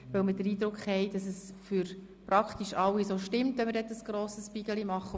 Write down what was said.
Dies weil wir den Eindruck haben, dass es für praktisch alle so stimmt, daraus einen grossen Stapel zu machen.